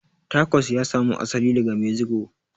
Tacos ya samu asali daga mexico